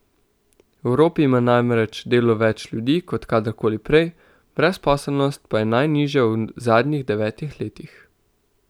V Evropi ima namreč delo več ljudi kot kadar koli prej, brezposelnost pa je najnižja v zadnjih devetih letih.